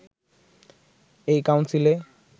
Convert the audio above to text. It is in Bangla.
এই কাউন্সিলে